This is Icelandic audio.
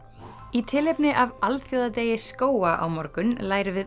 í tilefni af alþjóðadegi skóga á morgun lærum við